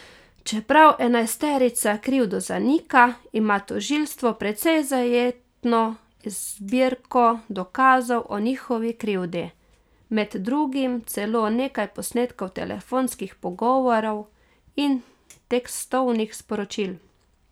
Čeprav enajsterica krivdo zanika, ima tožilstvo precej zajetno zbirko dokazov o njihovi krivdi, med drugim celo nekaj posnetkov telefonskih pogovorov in tekstovnih sporočil.